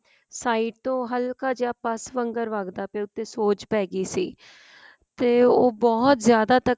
side ਤੋ ਹੱਲਕਾ ਜਾਂ ਪੱਸ਼ ਵਾਂਗਰ ਵੰਗਦਿਆ ਪਏਆ ਉਤੇ ਸ਼ੋਜ ਪੈ ਗਈ ਸੀ ਤੇ ਉਹ ਬਹੁਤ ਜਿਆਦਾ ਤੱਕ